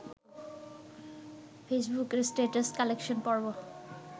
ফেসবুকের status collection পর্ব